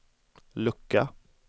lucka